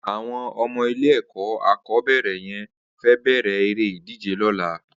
Awọn ọmọ ilé ẹkọ akọbẹrẹ yèn fè bẹrẹ éré idijé lọ̀là